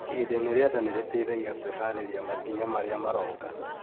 Ihinda-inĩ rĩa nda nĩ rĩteithagia kwĩhaarĩria makinya marĩa maroka